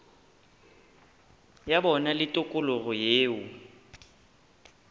ya bona le tikologo yeo